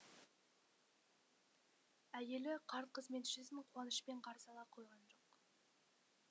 әйелі қарт қызметшісін қуанышпен қарсы ала қойған жоқ